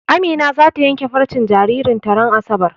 Amina zata yanke farcen jaririn ta ran asabar.